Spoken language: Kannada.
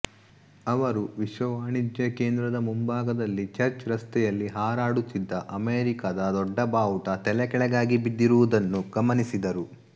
ಅವರು ವಿಶ್ವ ವಾಣಿಜ್ಯ ಕೇಂದ್ರದ ಮುಂಭಾಗದಲ್ಲಿ ಚರ್ಚ್ ರಸ್ತೆಯಲ್ಲಿ ಹಾರಾಡುತ್ತಿದ್ದ ಅಮೇರಿಕಾದ ದೊಡ್ಡ ಬಾವುಟ ತಲೆಕೆಳಗಾಗಿ ಬಿದ್ದಿರುವುದನ್ನು ಗಮನಿಸಿದರು